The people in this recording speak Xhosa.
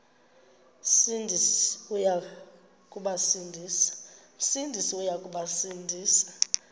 sindisi uya kubasindisa